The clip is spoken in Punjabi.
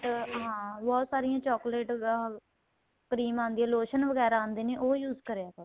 ਚ ਹਾਂ ਬਹੁਤ ਸਾਰੀਆਂ chocolate ਦਾ cream ਆਂਦੀ ਏ lotion ਵਗੈਰਾ ਆਂਦੇ ਨੇ ਉਹ use ਕਰਿਆ ਕਰੋ